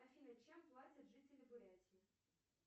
афина чем платят жители бурятии